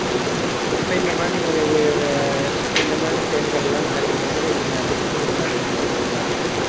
இப்ப இந்த மாதிரி ஒரு அஹ் இந்த மாதிரி செயல்கள் எல்லாம் நடக்கும் போது நீங்க அதை எப்படி உணறீங்க ஒரு பெண்ணா இருந்து